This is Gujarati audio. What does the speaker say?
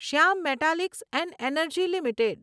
Shyam metalics and energy limited